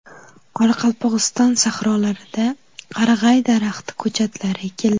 Qoraqalpog‘iston sahrolarida qarag‘ay daraxti ko‘chatlari ekildi.